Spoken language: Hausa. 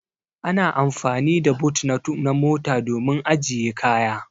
Ana amfani da boot na mota domin ajiye kaya.